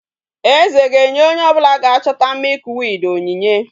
Eze ga enye onye obula ga chota milkweed onyinye